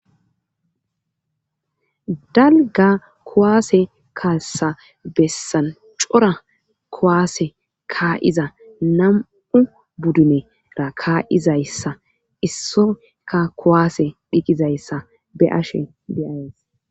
Dalga kuwaase kassa bessan cora kuwaase kaa'iza nam'u budduneraa kaa'iza issa issoka kuwaase diiqiza iza be'ashe de'ayiis.